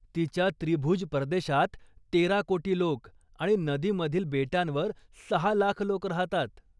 तिच्या त्रिभुज प्रदेशात तेरा कोटी लोक आणि नदीमधील बेटांवर सहा लाख लोक राहतात.